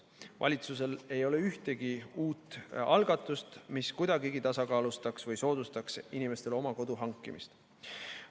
Valitsusel ei ole ühtegi uut algatust, mis kuidagigi tasakaalustaks või soodustaks inimestel oma kodu hankimist.